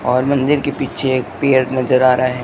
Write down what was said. और मंदिर के पीछे एक पेड़ नज़र आ रहा--